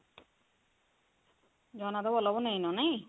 ଜଗନ୍ନାଥ ବଲ୍ଲଭ ନେଇନ ନାଇଁ ?